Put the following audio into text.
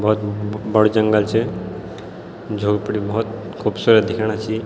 भौत बड़ू जंगल च झोपडी भौत खूबसूरत दिख्याणा छी।